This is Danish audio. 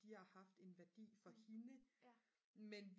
de har haft en værdi for hende men